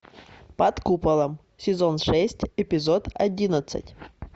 под куполом сезон шесть эпизод одиннадцать